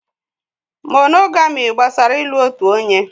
Mónógamị́ gbasara ị́lu otu onye.